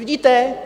Vidíte?